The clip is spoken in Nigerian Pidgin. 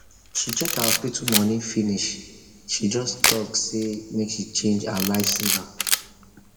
she check her hospital money finish she just talk say make she change her life saver